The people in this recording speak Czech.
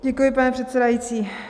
Děkuji, pane předsedající.